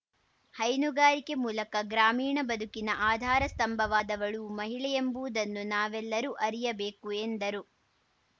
ಹೈನುಗಾರಿಕೆ ಮೂಲಕ ಗ್ರಾಮೀಣ ಬದುಕಿನ ಆಧಾರ ಸ್ಥಂಭವಾದವಳೂ ಮಹಿಳೆಯೆಂಬುವುದನ್ನು ನಾವೆಲ್ಲರೂ ಅರಿಯಬೇಕು ಎಂದರು